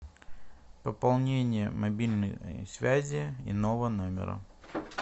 пополнение мобильной связи иного номера